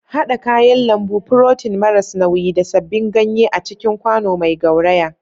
Haɗa kayan lambu, furotin maras nauyi, da sabbin ganye a cikin kwano mai gauraya.